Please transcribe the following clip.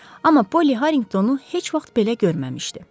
Amma Polly Harringtonu heç vaxt belə görməmişdi.